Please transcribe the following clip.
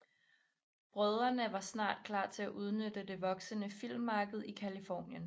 Brødrene var snart klar til at udnytte det voksende filmmarked i Californien